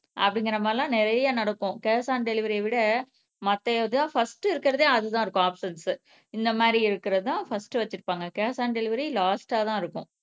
அப்பிடிங்குற மாதிரிலாம் நிறைய நடக்கும் கேஷ் ஆன் டெலிவரிய விட மத்த இதான் ஃபஸ்ட்டு இருக்குறதே அதுதான் இருக்கும் ஆப்ஷன்ஸ்ஸு இந்த மாதிரி இருக்குறது தான் ஃபஸ்ட்டு வச்சுருப்பாங்க கேஷ் ஆன் டெலிவரி லாஸ்ட்டா தான் இருக்கும்